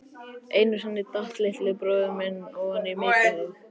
Einu sinni datt litli bróðir minn ofan í mykjuhaug.